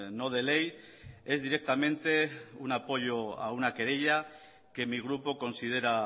no de ley es directamente un apoyo a una querella que mi grupo considera